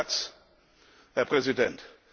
Ein letzter Satz, Herr Präsident.